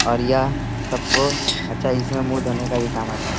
और यह सबको अच्छा इसमें मुंह धोने का भी काम आता है।